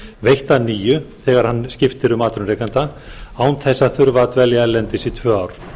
veitt að nýju þegar hann skiptir um atvinnurekanda án þess að þurfa að dvelja erlendis í tvö ár